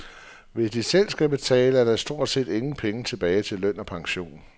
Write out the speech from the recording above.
Hvis de selv skal betale, er der stort set ingen penge tilbage til løn og pension.